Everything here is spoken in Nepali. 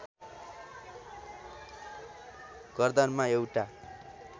गर्दनमा एउटा